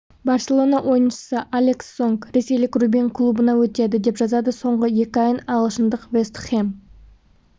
барселона ойыншысы алекс сонг ресейлік рубин клубына өтеді деп жазады соңғы екі айын ағылшындық вэст хэм